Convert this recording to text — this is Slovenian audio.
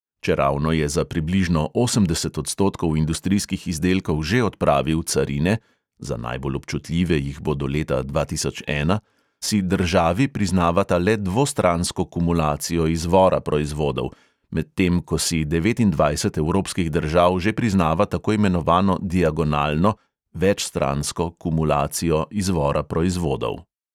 Čeravno je za približno osemdeset odstotkov industrijskih izdelkov že odpravil carine (za najbolj občutljive jih bo do leta dva tisoč ena), si državi priznavata le dvostransko kumulacijo izvora proizvodov, medtem ko si devetindvajset evropskih držav že priznava tako imenovano diagonalno kumulacijo izvora proizvodov.